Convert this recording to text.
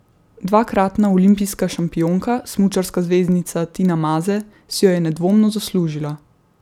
Dvakratna olimpijska šampionka, smučarska zvezdnica Tina Maze, si jo je nedvomno zaslužila.